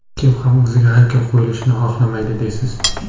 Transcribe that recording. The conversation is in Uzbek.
Kim ham o‘ziga haykal qo‘yilishini xohlamaydi deysiz?